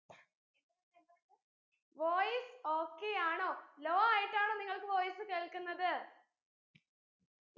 voice okay യാണോ low ആയിട്ടാണോ നിങ്ങൾക് voice കേൾക്കുന്നത്